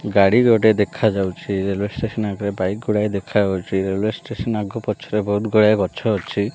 ଗାଡ଼ି ଗୋଟେ ଦେଖାଯାଉଛି ରେଲୱେ ଷ୍ଟେସନ୍ ଆଗରେ ବାଇକ ଗୁଡ଼ାଏ ଦେଖାଯାଉଛି ରେଲୱେ ଷ୍ଟେସନ୍ ଆଗରେ ପଛରେ ବହୁତ୍ ଗୁଡ଼ାଏ ଗଛ ଅଛି।